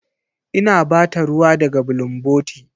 Ina ba ta ruwa daga bulunboti.